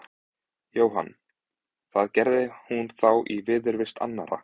Jóhann: Það gerði hún þá í viðurvist annarra?